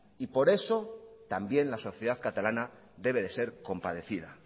por eso también la sociedad catalana debe de ser compadecida